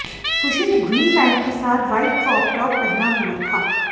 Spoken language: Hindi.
खुशी ने ग्रीन पैट के साथ व्हाइट कॉप टाप पहना हुआ था